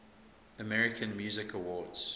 american music awards